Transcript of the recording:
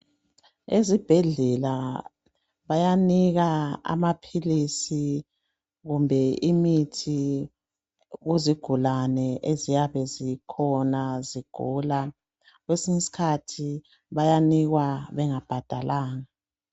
Ezibhedlela bayanika amaphilisi kumbe imithi kuzigulane ezyabe zikhona zigula, kwesinye iskhathi bayanikwa bengabhadalanga.